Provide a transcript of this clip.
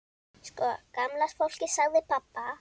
Sko gamla fólkið sagði pabbi.